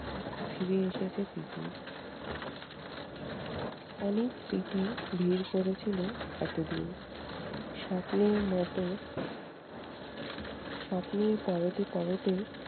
ফিরে এসেছে তিতির। অনেক স্মৃতি ভিড় করেছিল এতদিন। স্বপ্নের মতো স্বপ্নের পরোতে পরোতে